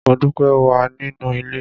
Modúpẹ́ wà nínú ilé.